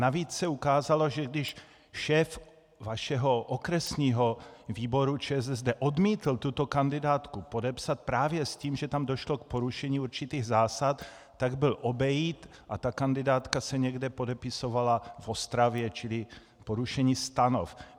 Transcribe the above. Navíc se ukázalo, že když šéf vašeho okresního výboru ČSSD odmítl tuto kandidátku podepsat právě s tím, že tam došlo k porušení určitých zásad, tak byl obejit a ta kandidátka se někde podepisovala v Ostravě, čili porušení stanov.